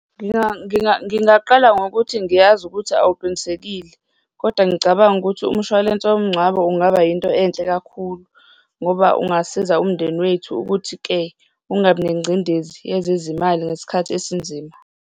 Ngingaqala ngokuthi ngiyazi ukuthi awuqinisekile kodwa ngicabanga ukuthi umshwalense womngcwabo ungaba yinto enhle kakhulu ngoba ungasiza umndeni wethu ukuthi-ke ungabi nengcindezi yezezimali ngesikhathi esinzima.